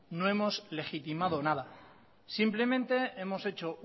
no hemos legitimado nada simplemente hemos hecho